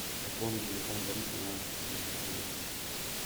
пополни телефон бориса на десять рублей